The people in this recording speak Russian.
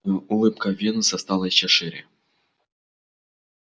улыбка венуса стала ещё шире